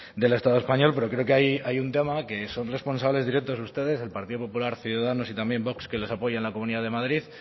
del estado español pero creo que hay un tema que son responsables directos ustedes el partido popular ciudadanos y también vox que los apoya en la comunidad de madrid